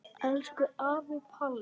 Elsku afi Palli.